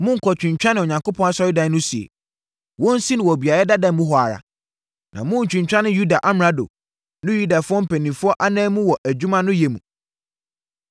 Monnkɔtwintwane Onyankopɔn asɔredan no sie. Wɔnsi no wɔ beaeɛ dada mu hɔ ara, na monntwintwane Yuda amrado ne Yudafoɔ mpanimfoɔ ananmu wɔ adwuma no yɛ mu.